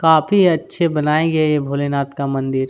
काफी अच्छे बनाए गए हैं ये भोलेनाथ का मंदिर--